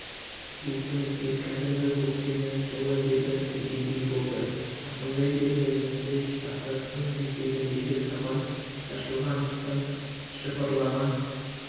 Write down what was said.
бетімізге кәдімгі көктемнің жылы лебі келгендей болды жақындай бергенімізде жартастың етегіндегі сабан шашылған тұстан жыпырлаған